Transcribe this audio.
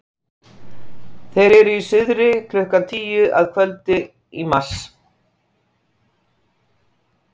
Þeir eru í suðri klukkan tíu að kvöldi í mars.